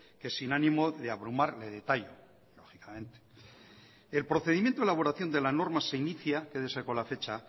que sin ánimo de abrumar le detallo lógicamente el procedimiento de elaboración de la norma se inicia quédese con la fecha